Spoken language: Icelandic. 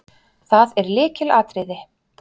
Það er lykilatriði.